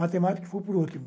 Matemática foi por último.